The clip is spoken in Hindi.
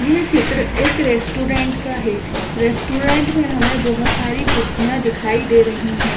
यह चित्र एक रेस्टोरेंट का है रेस्टोरेंट में हमें बहोत सारी कुर्सियां दिखाई दे रही--